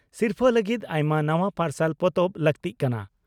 ᱥᱤᱨᱯᱷᱟᱹ ᱞᱟᱹᱜᱤᱫ ᱟᱭᱢᱟ ᱱᱟᱣᱟ ᱯᱟᱨᱥᱟᱞ ᱯᱚᱛᱚᱵ ᱞᱟᱹᱠᱛᱤᱜ ᱠᱟᱱᱟ ᱾